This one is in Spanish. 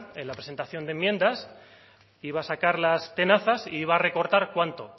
en la presentación de enmiendas iba a sacar las tenazas e iba a recortar cuánto